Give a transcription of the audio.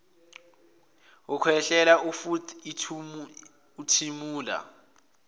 ukhwehlela futh uthimula